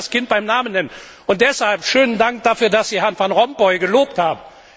Man muss ja das Kind beim Namen nennen, und deshalb schönen Dank dafür, dass Sie Herrn Van Rompuy gelobt haben.